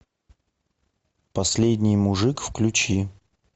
последний мужик включи